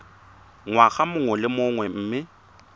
ngwaga mongwe le mongwe mme